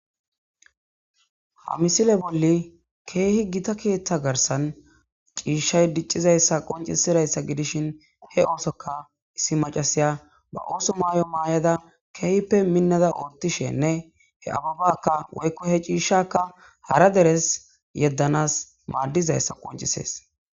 misile bolli kehi gitta ketha garisani cishayi dicizayisa qocisidayissa gidishini he osoka issi macasiya ba osso mayo mayadda kehipe minada othashene he abebaka he cishaka hara deresi yedanawu madizatisa qoncises